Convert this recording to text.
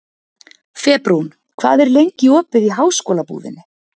Febrún, hvað er lengi opið í Háskólabúðinni?